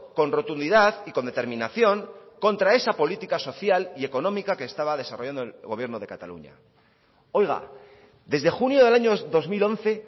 con rotundidad y con determinación contra esa política social y económica que estaba desarrollando el gobierno de cataluña oiga desde junio del año dos mil once